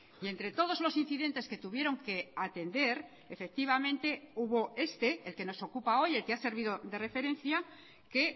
y entre todos los incidentes que tuvieron que atender efectivamente hubo este el que nos ocupa hoy el que ha servido de referencia que